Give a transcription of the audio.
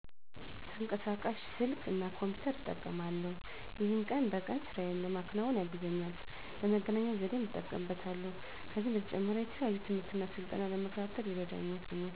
ተንቀሳቃሽ ስልክ እና ኮምፒተር እጠቀማለሁ። ይሄም ቀን በቀን ስራየን ለመከወን ያግዘኛል፣ ለመገናኛ ዘዴም እጠቀምበታለሁ። ከዚህም በተጨማሪ የተለያዩ ትምህርትና ስልጠናዎችን ለመከታተል ይረዳኛል።